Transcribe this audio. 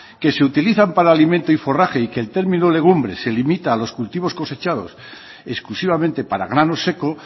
que se utilizan para alimento y forraje y que el término legumbre se limita a los cultivos cosechados exclusivamente para grano seco